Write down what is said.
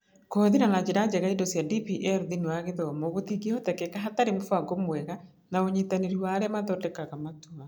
Kũhũthĩra na njĩra njega indo cia DPL thĩinĩ wa gĩthomo gũtingĩhoteka hatarĩ mũbango mwega na ũnyitanĩri wa arĩa mathondekaga matua.